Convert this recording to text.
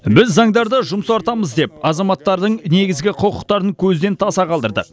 біз заңдарды жұмсартамыз деп азаматтардың негізгі құқықтарын көзден таса қалдырдық